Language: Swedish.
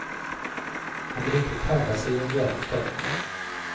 Han vill inte kalla sig en hjälte.